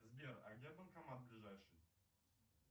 сбер а где банкомат ближайший